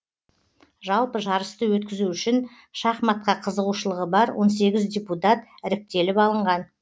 жалпы жарысты өткізу үшін шахматқа қызығушылығы бар он сегіз депутат іріктеліп алынған